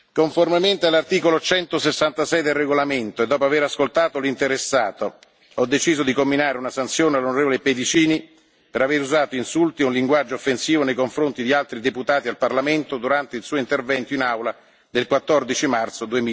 Conformemente all'articolo 166 del regolamento e dopo aver ascoltato l'interessato, ho deciso di comminare una sanzione all'on. Pedicini per aver usato insulti e un linguaggio offensivo nei confronti di altri deputati al Parlamento europeo durante il suo intervento in Aula del 14 marzo